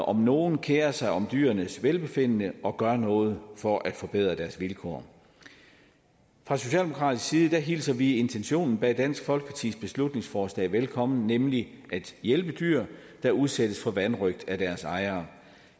om nogen kerer sig om dyrenes velbefindende og gør noget for at forbedre deres vilkår fra socialdemokratisk side hilser vi intentionen bag dansk folkepartis beslutningsforslag velkommen nemlig at hjælpe dyr der udsættes for vanrøgt af deres ejere